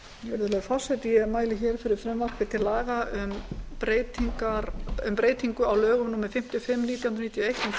virðulegi forseti ég mæli fyrir frumvarpi til laga um breytingu á lögum númer fimmtíu og fimm nítján hundruð níutíu og eitt um þingsköp